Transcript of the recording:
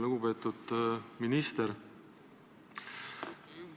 Lugupeetud minister!